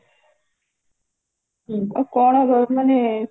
ହୁଁ ଆଉ କଣ ଅ ମାନେ